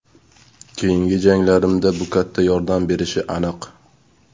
Keyingi janglarimda bu katta yordam berishi aniq.